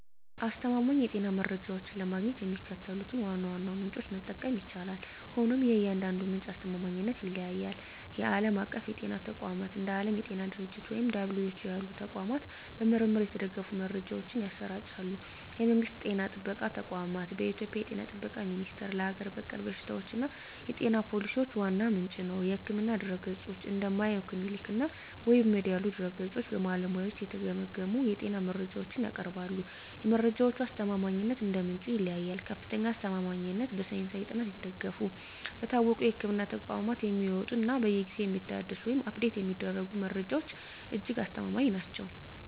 አስተማማኝ የጤና መረጃዎችን ለማግኘት የሚከተሉትን ዋና ዋና ምንጮች መጠቀም ይቻላል፤ ሆኖም የእያንዳንዱ ምንጭ አስተማማኝነት ይለያያል። ዓለም አቀፍ የጤና ተቋማት፦ እንደ ዓለም የጤና ድርጅት (WHO) ያሉ ተቋማት በምርምር የተደገፉ መረጃዎችን ያሰራጫሉ። የመንግስት ጤና ጥበቃ ተቋማት፦ በኢትዮጵያ የ ጤና ጥበቃ ሚኒስቴር ለሀገር በቀል በሽታዎችና የጤና ፖሊሲዎች ዋነኛ ምንጭ ነው። የሕክምና ድረ-ገጾች፦ እንደ Mayo Clinic እና WebMD ያሉ ድረ-ገጾች በባለሙያዎች የተገመገሙ የጤና መረጃዎችን ያቀርባሉ። የመረጃዎቹ አስተማማኝነት እንደ ምንጩ ይለያያል፦ ከፍተኛ አስተማማኝነት፦ በሳይንሳዊ ጥናት የተደገፉ፣ በታወቁ የሕክምና ተቋማት የሚወጡ እና በየጊዜው የሚታደሱ (Update የሚደረጉ) መረጃዎች እጅግ አስተማማኝ ናቸው።